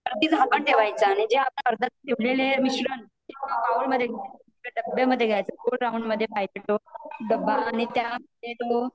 वरती झाकन ठेवायच आणि जे आपण आर्धा बनवलेले मिश्रण त्याला डब्य मध्ये गोल राउंड मध्ये टाकायच आणि त्या मध्ये तो